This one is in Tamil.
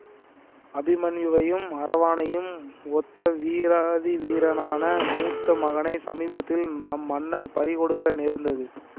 அபிமன்யுவையும் அரவானையும் ஒத்த வீராதி வீரனான மூத்த மகனைச் சமீபத்தில் நம் மன்னர் பறி கொடுக்க நேர்ந்தது